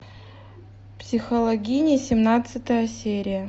психологини семнадцатая серия